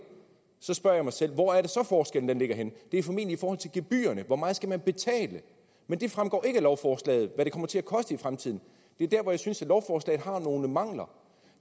så spørger jeg mig selv hvor er det så forskellen ligger henne det er formentlig i forhold til gebyrerne hvor meget skal man betale men det fremgår ikke af lovforslaget hvad det kommer til at koste i fremtiden det er der hvor jeg synes at lovforslaget har nogle mangler